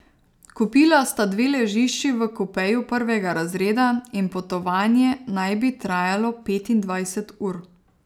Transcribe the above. Kupila sta dve ležišči v kupeju prvega razreda in potovanje naj bi trajalo petindvajset ur.